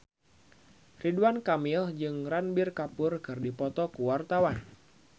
Ridwan Kamil jeung Ranbir Kapoor keur dipoto ku wartawan